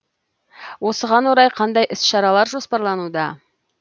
осыған орай қандай іс шаралар жоспарлануда